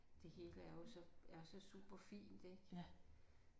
Det hele er jo så er så super fint ik